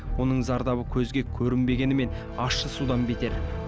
оның зардабы көзге көрінбегенімен ащы судан бетер